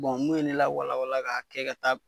n'u ye ne lawala wala k'a kɛ ka taa b